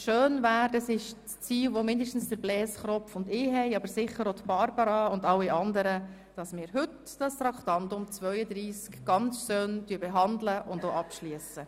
Schön wäre es – das ist zumindest das Ziel von Blaise Kropf und mir, aber sicher auch von Regierungsrätin Barbara Egger und allen anderen –, wir könnten das Traktandum 32 heute abschliessen.